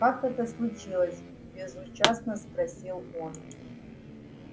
как это случилось безучастно спросил он